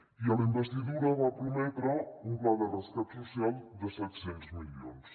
i a la investidura va prometre un pla de rescat social de set cents milions